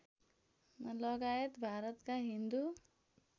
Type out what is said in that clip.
लगायत भारतका हिन्दु